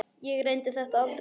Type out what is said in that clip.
Ég reyndi þetta aldrei aftur.